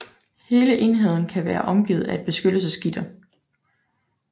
Hele enheden kan være omgivet af et beskyttelsesgitter